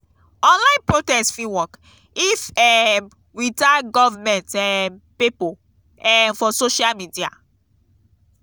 online protest fit work if um we tag government um pipo um for social media.